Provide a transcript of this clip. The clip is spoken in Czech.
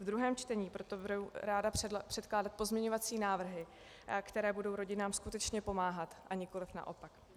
V druhém čtení proto budu ráda předkládat pozměňovací návrhy, které budou rodinám skutečně pomáhat, a nikoliv naopak.